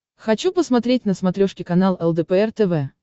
хочу посмотреть на смотрешке канал лдпр тв